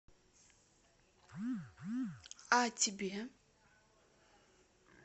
а тебе